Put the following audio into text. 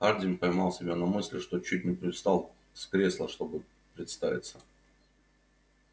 хардин поймал себя на мысли что чуть не привстал с кресла чтобы представиться